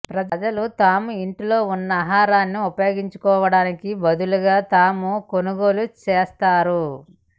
ప్రజలు తాము ఇంట్లో ఉన్న ఆహారాన్ని ఉపయోగించుకోవటానికి బదులుగా తాము కొనుగోలు చేస్తారు